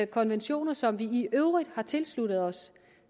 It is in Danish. konventioner som vi i øvrigt har tilsluttet os